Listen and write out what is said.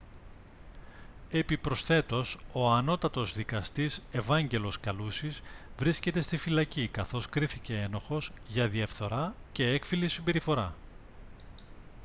επιπροσθέτως ο ανώτατος δκαστής ευάγγελος καλούσης βρίσκεται στη φυλακή καθώς κρίθηκε ένοχος για διαφθορά και έκφυλη συμπεριφορά